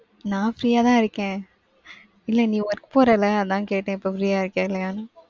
நான் free யாதான் இருக்கேன். இல்ல, நீ work போறல? அதான் கேட்டேன், இப்ப free யா இருக்கியா இல்லையானு?